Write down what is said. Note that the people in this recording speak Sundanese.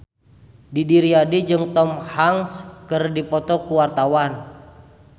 Didi Riyadi jeung Tom Hanks keur dipoto ku wartawan